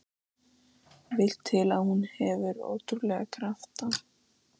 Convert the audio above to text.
Vill til að hún hefur ótrúlega krafta.